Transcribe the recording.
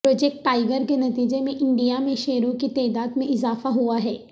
project tiger کے نتیجے میں انڈیا میں شیروں کی تعداد میں اضافہ ہوا ہے